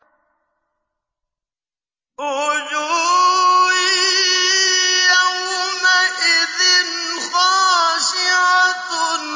وُجُوهٌ يَوْمَئِذٍ خَاشِعَةٌ